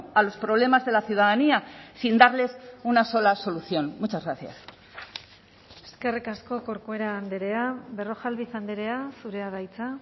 a los problemas de la ciudadanía sin darles una sola solución muchas gracias eskerrik asko corcuera andrea berrojalbiz andrea zurea da hitza